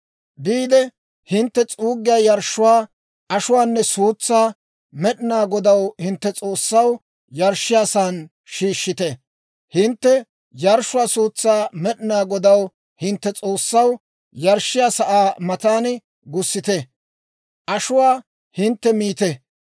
Biide hintte s'uuggiyaa yarshshuwaa, ashuwaanne suutsaa, Med'inaa Godaw, hintte S'oossaw, yarshshiyaasan shiishshite; hintte yarshshuwaa suutsaa Med'inaa Godaw, hintte S'oossaw, yarshshiyaa sa'aa matan gussite; ashuwaa hintte miite.